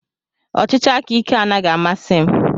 Ọchịchị aka ike anaghị amasị m.